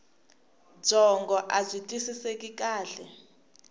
byongo abyi twisiseki kahle